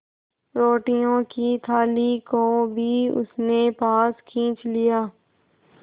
रोटियों की थाली को भी उसने पास खींच लिया